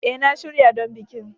A, na shirya don bikin